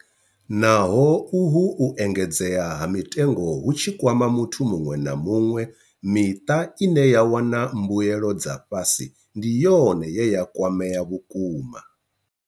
Naho uhu u engedzea ha mitengo hu tshi kwama muthu muṅwe na muṅwe, miṱa ine ya wana mbuelo dza fhasi ndi yone ye ya kwamea vhukuma.